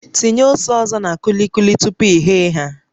Tinye ose ọzọ na kulikuli tupu i ghee ha